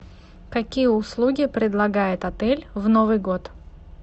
какие услуги предлагает отель в новый год